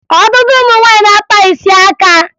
Ọtụtụ ụmụ nwaanyị na-akpa isi aka